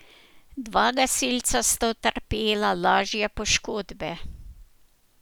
Dva gasilca sta utrpela lažje poškodbe.